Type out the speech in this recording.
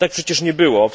Tak przecież nie było.